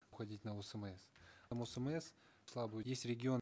уходить на осмс там осмс слабый есть регион